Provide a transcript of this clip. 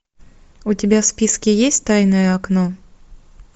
у тебя в списке есть тайное окно